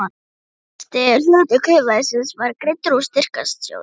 Fyrsti hluti kaupverðsins var greiddur úr styrktarsjóði